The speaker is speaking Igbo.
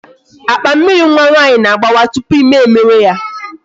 Akpa Mmịrị nwa nwaanyị na-agbawa tupu ime emewe ya